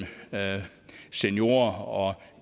seniorer og